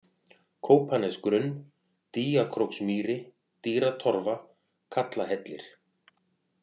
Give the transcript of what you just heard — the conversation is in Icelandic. Kópanesgrunn, Dýjakróksmýri, Dýratorfa, Kallahellir